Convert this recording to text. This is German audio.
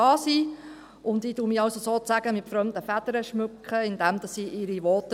Ich schmücke mich also sozusagen mit fremden Federn, indem ich ihre Voten halte.